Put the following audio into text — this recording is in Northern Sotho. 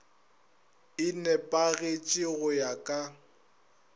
e nepagetše go ya ka